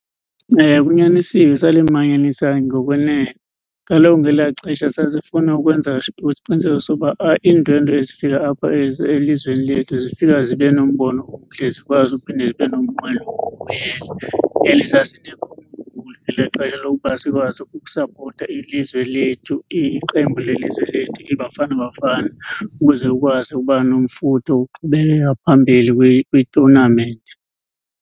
Kunyanisiwe salimanyanisa ngokwenene. Kaloku ngelaa xesha sasifuna ukwenza isiqiniseko soba iindwendwe ezifika apha elizweni lethu zifika zibe nombono omhle, zikwazi ukuphinde zibe nomnqweno wokubuyela. ngelaa xesha loba sikwazi ukusapota ilizwe lethu, iqembu lelizwe lethu iBafana Bafana, ukuze ukwazi uba nomfutho wokuqhubekeka phambili kwitonamenti.